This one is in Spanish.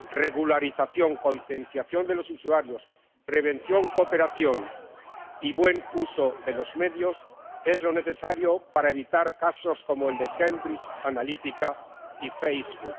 Regularización, concienciación de los usuarios, prevención, cooperación y buen uso de los medios es lo necesario para evitar casos como el de Cambridge Analytica y Facebook.